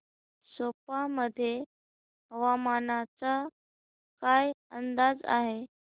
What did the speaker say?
सेप्पा मध्ये हवामानाचा काय अंदाज आहे